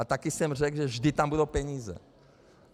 A také jsem řekl, že vždy tam budou peníze.